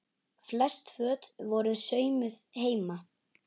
Flest föt voru saumuð heima.